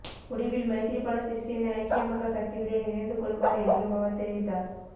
முடிவில் மைத்திரிபால சிறிசேன ஐக்கிய மக்கள் சக்தியுடன் இணைந்துக்கொள்வார் என்றும் அவர் தெரிவித்தார்